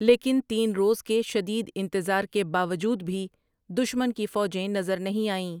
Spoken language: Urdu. لیکن تین روز کے شدید انتظار کے باوجود بھی دشمن کی فوجیں نظر نہیں آئیں ۔